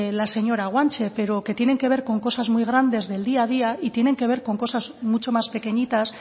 la señora guanche pero que tienen que ver con cosas muy grandes del día a día y tienen que ver con cosas mucho más pequeñitas